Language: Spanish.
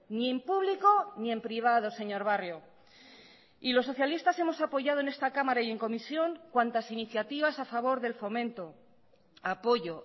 ni en público ni en privado señor barrio y los socialistas hemos apoyado en esta cámara y en comisión cuantas iniciativas a favor del fomento apoyo